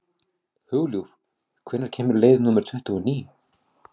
Hugljúf, hvenær kemur leið númer tuttugu og níu?